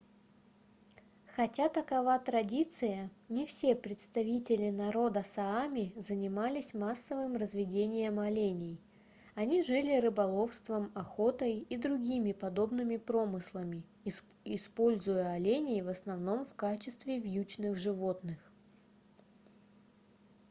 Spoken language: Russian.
хотя такова традиция не все представители народа саами занимались массовым разведением оленей они жили рыболовством охотой и другими подобными промыслами используя оленей в основном в качестве вьючных животных